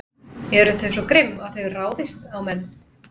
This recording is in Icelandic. Eru þau svo grimm að þau ráðist á menn?